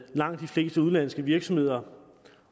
langt de fleste udenlandske virksomheder